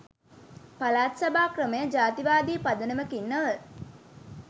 පළාත් සභා ක්‍රමය ජාතිවාදී පදනමකින් නොව